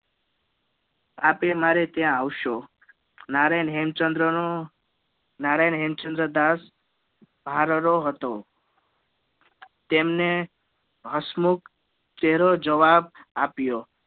આપે મારે ત્યાં આવસો નારાયણ હેમચંદ્ર નો નારાયણ હેમચંદ્ર દાસ ભારરો હતો તેમને હસમુખ ચેહરો જવાબ આપ્યો